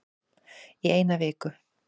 Í eina viku